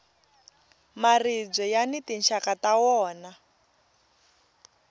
maribye yani tinxaka ta wona